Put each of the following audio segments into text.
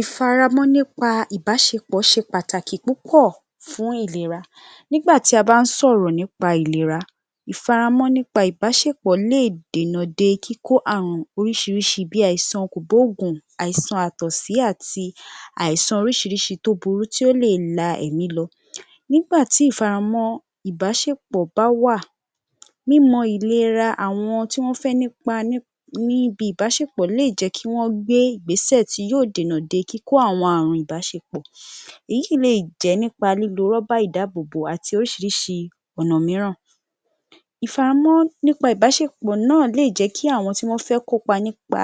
Ìfaramọ́ nípa ìbáṣepọ̀ ṣe pàtàkì púpọ̀ fún ìlera. Nígbà tí a bá ń sọ̀rọ̀ nípa ìlera, Ìfaramọ́ nípa ìbáṣepọ̀ lè dènà dé kíkó àrùn oríṣiríṣi bí àìsàn kò gbóògùn, àìsàn àtọ̀sí àti àìsàn orísirísi tí ó burú tí ó lè la èmí lọ. Nígbà tí ìfaramọ́ ìbáṣepọ̀ bá wà, mímọ ìlera àwọn tí wọ́n fẹ́ nípa níbi ìbáṣepọ̀ lè jẹ́ kí wọ́n gbé Ìgbésẹ̀ tí yóò dènà de kíkó àwọn àrùn ìbáṣepọ̀. Èyí le jẹ́ nípa lílo rọ́bà ìdáàbòbò àti oríṣiríṣi ọ̀nà mìíràn. Ìfaramọ́ nípa ìbáṣepọ̀ náà lè jẹ́ kí àwọn tí wọ́n fẹ́ kópa nípa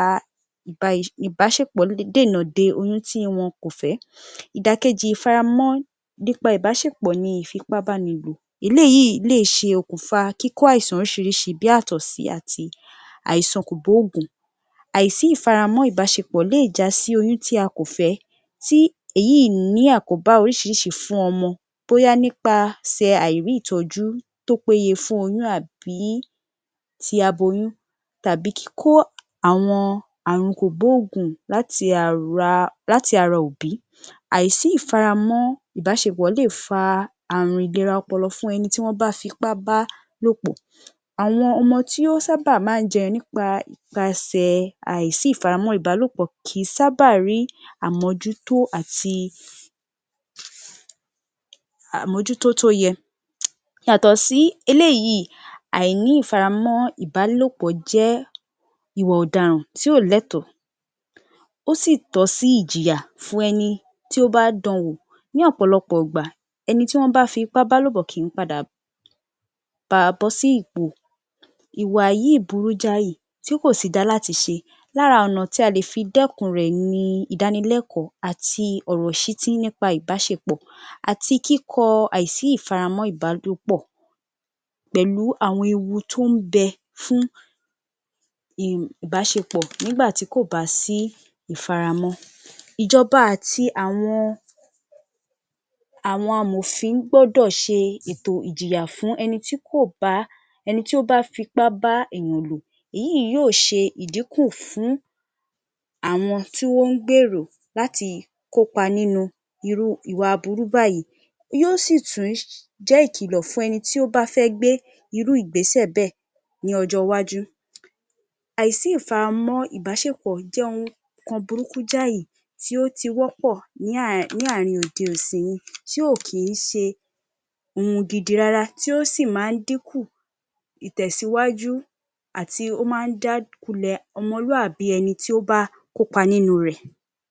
ìbáṣepọ̀ lè dènà de oyún tí wọn kò fẹ́. Ìdàkejì ìfaramọ́ nípa ìbáṣepọ̀ ni ìfipábánilò. Eléyìí lè ṣe okùnfà kíkó àìsàn orísirísi bí àtọ̀sí àti àìsàn kò gbóògùn. Àìsí ìfaramọ́ ìbáṣepọ̀ lè já sí oyún tí a kò fẹ́ tí èyí ní àkóbá oríṣiríṣi fún ọmọ bóyá nípasẹ̀ àìrí ìtọ́jú tó pé yẹ fún oyún àbí tí aboyún tàbí kíkó àwọn àrùn kò gbóògùn láti ara láti ara òbí. Àisí ìfaramọ́ ìbáṣepọ̀ lè fa àrùn ìlera ọpọlọ fún ẹni tí wọ́n bá fipá bá lòpò. Àwọn ọmọ tí ó sábà máa ń jẹyọ nípa ìpaṣẹ̀ àìsí ìfaramọ́ ìbáṣepọ̀ kì í sábà rí àmójútó àti àmójútó tó yẹ. Yàtò sí eléyìí, àìní ìfaramọ́ ìbálòpọ̀ jẹ́ ìwà-ọ̀daràn tí ó lẹ́tọ̀ọ́, ó sì tọ́ sí ìjìyà fún ẹni tí ó bá dan wò. Ní ọ̀pọ̀lọpọ̀ ìgbà, ẹni tí wọ́n bá fi ipá bá lòpọ̀ kì í padà ba bó sí gbo, ìwà yìí burú jáì tí kò sí da láti ṣe. Lára ọ̀nà tí a lè fi dẹ́kun rẹ̀ ni ìdánilẹ́kọ̀ọ́ àti ọ̀rọ̀ ìṣítí nípa ìbáṣepọ̀, àti kíkọ àìsí ìfaramọ́ ìbá pọ̀ pẹ̀lú àwọn ewu tó ń bẹ fún ìbáṣepọ̀ nígbà tí kò bá sí ìfaramọ́. Ìjọba àti àwọn àwọn amọ̀fin gbọ́dọ̀ ṣe ètò ìjìyà fún ẹni tí kò bá ẹni tí ó bá fipá bá èèyàn lò. Èyí yóò ṣe ìdìkú fún àwọn tí ó ń gbèrò láti kópa nínú irú ìwà aburú báyìí, yóò sì tún jẹ́ ìkìlọ̀ fún ẹni tí ó bá fẹ́ gbé irú Ìgbésẹ̀ bẹ́ẹ̀ ní ọjọ́ iwájú. Àìsí ìfaramọ́ ìbáṣepọ̀ jẹ́ ohun kan burúkú jáì tí ó ti wọ́pọ̀ ní àárín òde ìsìn yìí tí ò kí í ṣe ohun gidi rárá, tí ó sì máa ń dínkù ìtẹ̀síwájú àti ó máa ń já ku lẹ̀ ọmọlúwàbí ẹni tí ó bá kó pa nínú rẹ̀.